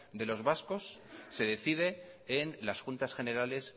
de los vascos se decide en las juntas generales